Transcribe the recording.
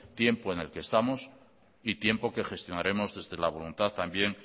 tiempo en el que estamos y tiempo que gestionaremos desde la voluntad también